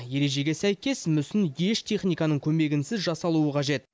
ережеге сәйкес мүсін еш техниканың көмегінсіз жасалуы қажет